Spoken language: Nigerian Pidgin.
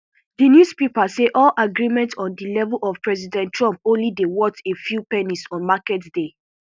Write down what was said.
di newspaper say all agreements on di level of president trump only dey worth a few pennies on market day